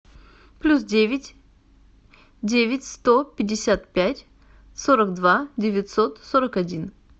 плюс девять девять сто пятьдесят пять сорок два девятьсот сорок один